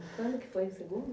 Quando que foi o segundo?